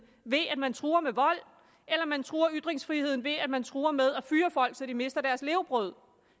ved at man truer med vold eller om man truer ytringsfriheden ved at man truer med at fyre folk så de mister deres levebrød